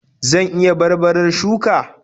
Zan iya barbarar shuka?